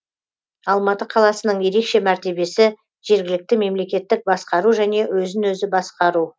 алматы қаласының ерекше мәртебесі жергілікті мемлекеттік басқару және өзін өзі басқару